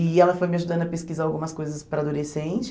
E ela foi me ajudando a pesquisar algumas coisas para adolescente.